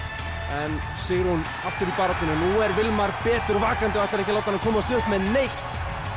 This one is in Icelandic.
en Sigrún aftur í baráttuna nú er betur vakandi og ætlar ekki að láta hana komast upp með neitt